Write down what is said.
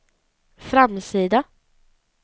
framsida